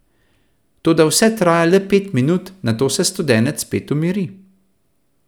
Toda vse traja le pet minut, nato se studenec spet umiri.